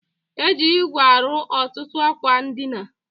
E ji igwe arụ ọtụtụ akwa ndịna